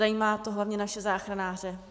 Zajímá to hlavně naše záchranáře.